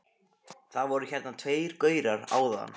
Það voru hérna tveir gaurar áðan.